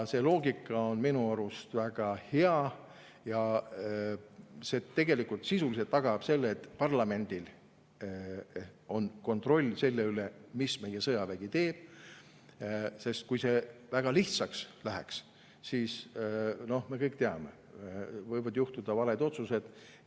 See loogika on minu arust väga hea ja sisuliselt tagab selle, et parlamendil on kontroll selle üle, mida meie sõjavägi teeb, sest kui see väga lihtsaks läheks, siis, me kõik teame, võivad juhtuda valed otsused.